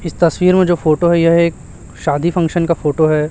इस तस्वीर में जो फोटो है यह एक शादी फंक्शन का फोटो है।